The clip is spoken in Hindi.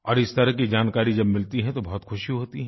और इस तरह की जानकारी जब मिलती है तो बहुत खुशी होती है